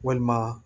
Walima